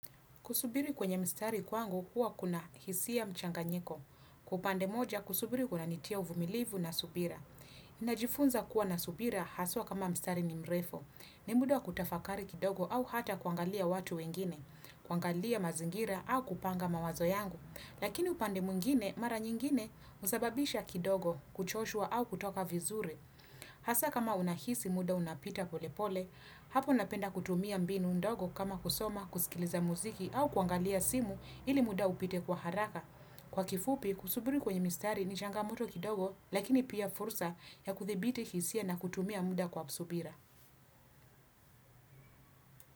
Kusubiri kwenye mstari kwangu huwa kuna hisia mchanga nyiko. Kwaupande moja, kusubiri kuna nitia uvumilivu na subira. Najifunza kuwa na subira haswa kama mstari ni mrefu. Nimudawa kutafakari kidogo au hata kuangalia watu wengine. Kuangalia mazingira au kupanga mawazo yangu. Lakini upande mwingine, mara nyingine, husababisha kidogo, kuchoshwa au kutoka vizuri. Hasa kama unahisi muda unapita pole pole. Hapo napenda kutumia mbinu ndogo kama kusoma, kusikiliza muziki au kuangalia simu ili muda upite kwa haraka. Kwa kifupi, kusuburi kwenye mistari ni changamoto kidogo lakini pia fursa ya kuthibiti hisia na kutumia muda kwa subira.